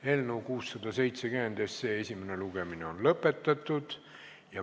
Eelnõu 670 esimene lugemine on lõpetatud.